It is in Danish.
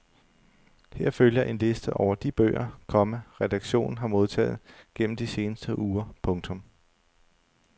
Her følger en liste over de bøger, komma redaktionen har modtaget gennem de seneste uger. punktum